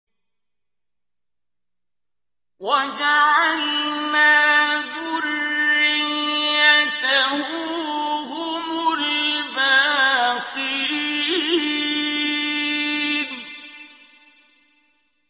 وَجَعَلْنَا ذُرِّيَّتَهُ هُمُ الْبَاقِينَ